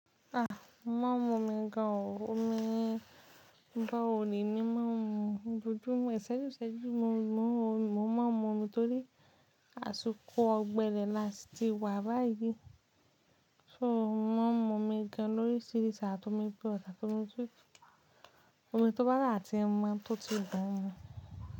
Ah! Mo má ń momi gan o. Omi borehole ni mo má ń mu. Ojoojúmọ́ ìṣẹ́júṣẹ́jú ni mo má ń momi, mo má ń momi torí àsìkò ọ̀gbẹlẹ̀ la sì ti wà báyìí. So, mo má ń momi gan lórísiríi àtomi purewater omi tútù. Òhun tó bá sa tí mo, tó tún dùn ún mu.